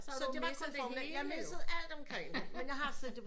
Så du missede det hele jo